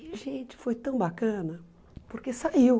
E, gente, foi tão bacana, porque saiu.